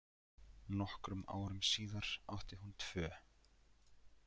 Nokkrum árum síðar átti hún tvö.